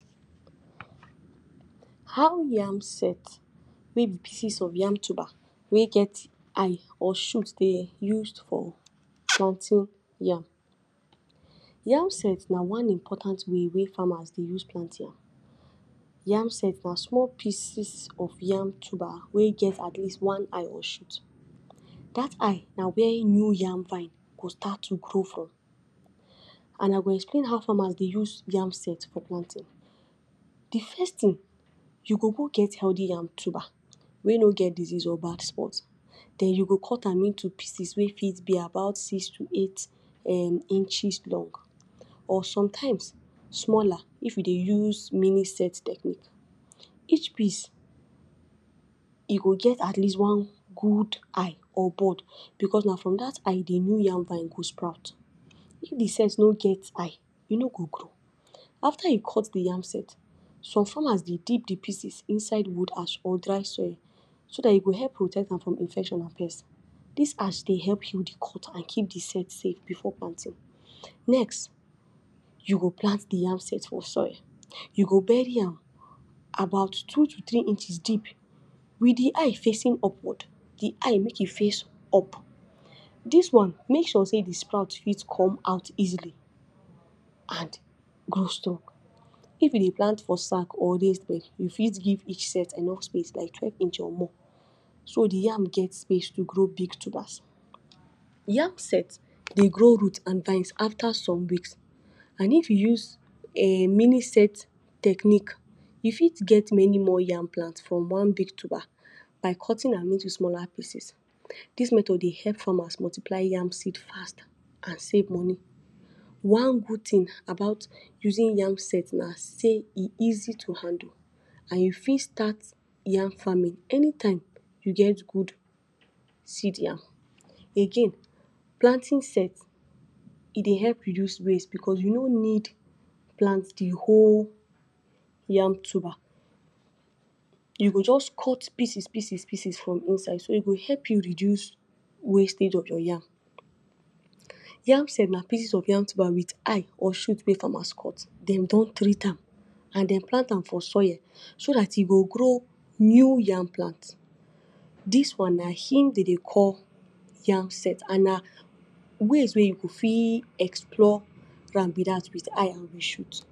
How yam set, wey be pieces of yam tuba wey get eye or shoot, dey use for planting yam. Yam set na one important way wey farmers dey use plant yam. Yam set na small pieces of yam tuba wey get at least one eye or shoot. Dat eye na where new yam vine go start to grow from. And I go explain how farmers dey use yam set for planting. De first thing you go go get healthy yam tuba wey no get disease or bad spot. Den you go cut am into pieces wey fit be about six to eight inches long or sometimes smaller if you dey use mini-set technique. Each piece you go get at least one good eye or bud, because na from dat eye de new yam vine go sprout. If de set no get eye, e no go grow. Afta you cut de yam set, some farmers dey deep de pieces inside wood ash or dry soil, so dat e go help protect am from infection and pest. Dis ash dey heal de cut and keep de set safe before planting. Next, you go plant de yam set for soil. You go bury am about two to three inches deep, with de eye facing upward. De eye make e face up, dis one make sure sey de sprout fit come out easily and grow strong. If you dey plant for sack or raise bed, you fit give each set enough space like twelve inches or more, so de yam get space to grow big tubers. Yam set dey grow root and vines afta some weeks, and if you use um mini-set technique, you fit get many more yam plants from one big tuba by cutting am into smaller pieces. Dis method dey help farmers multiply yam seed fast and save money. One good thing about using yam set na sey e easy to handle, and you fit start yam farming anytime you get good seed yam. Again, planting set e dey help reduce waste, because you no need plant de whole yam tuba. You go just cut pieces pieces from inside, so e go help you reduce wastage of your yam. Yam set na pieces of yam tuba with eye or shoot wey farmers cut dem don treat am, and den plant am for soil, so dat e go grow new yam plant. Dis one na im dem dey call yam set and na ways wey you go fit explore yam be dat with eye and de shoot.